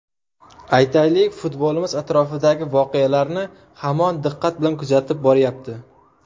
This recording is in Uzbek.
Aytaylik, futbolimiz atrofidagi voqealarni hamon diqqat bilan kuzatib boryapti.